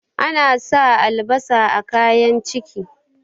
ana sa albasa a kayan ciki